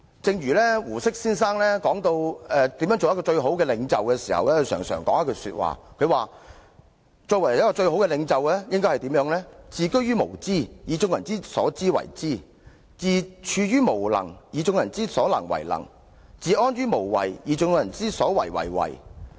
正如胡適先生談到如何成為最好的領袖時，便曾指出最高領袖的任務是"自居於無知，而以眾人之所知為知；自處於無能，而以眾人之所能為能；自安於無為，而以眾人之所為為為。